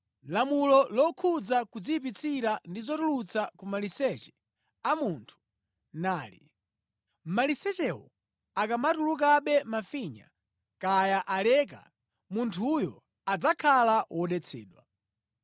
Lamulo lokhudza kudziyipitsira ndi zotuluka ku maliseche a munthu nali: Malisechewo akamatulukabe mafinya, kaya aleka, munthuyo adzakhala wodetsedwa: